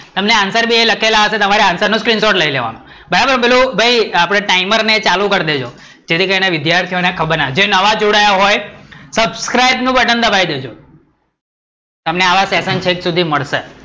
મતને answer લખેલા હશે, તમારે answerscreenshot લઇ લેવાનો, બરાબર, પેલું ભઈ timernet ચાલુ કરી દેજો, જેથી કરી ને નવા વિદ્યાર્થીઓ ને ખબર ના હોય, જે નવા જોડા આયા હોય, subscribe બટન દબાવી દેજો, તમને આવા session છેક સુધી મળશે